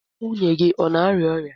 Nwunye gị ọ na-arịa ọrịa?